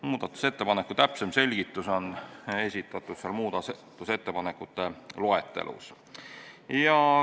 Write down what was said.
Muudatusettepaneku täpsem selgitus on esitatud muudatusettepanekute loetelus.